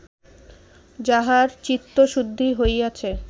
যাহার চিত্তশুদ্ধি হইয়াছে